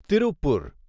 Tiruppur